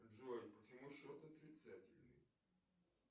джой почему счет отрицательный